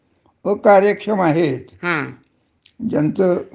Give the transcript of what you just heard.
ते म्हणजे कंपनी घरी पाठवता.